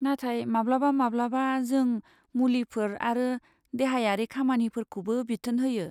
नाथाय माब्लाबा माब्लाबा जों मुलिफोर आरो देहायारि खामानिफोरखौबो बिथोन होयो।